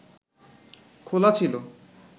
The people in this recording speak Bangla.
খোলা ছিল